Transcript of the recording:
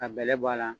Ka bɛlɛ bɔ a la